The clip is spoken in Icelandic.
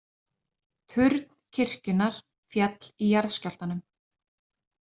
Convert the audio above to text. Turn kirkjunnar féll í jarðskjálftanum